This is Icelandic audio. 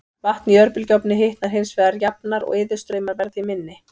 Vatn í örbylgjuofni hitnar hins vegar jafnar og iðustraumar verða því minni.